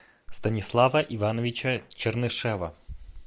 станислава ивановича чернышева